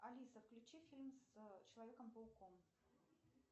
алиса включи фильм с человеком пауком